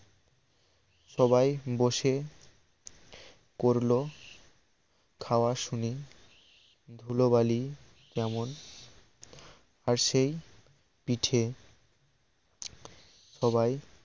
সবাই বসে করল খাওয়া শুনে ধুলোবালি তেমন আর সেই পিঠে সবাই